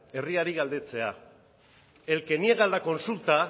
herriari galdetzea el que niega la consulta